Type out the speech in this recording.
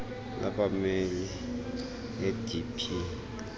labameli le idp